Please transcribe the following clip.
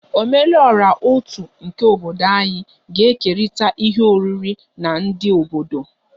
Ome lu ora otu nke obodo anyị ga-ekerịta ihe oriri na ndị obodo